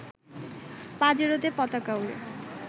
পাজেরোতে পতাকা ওড়ে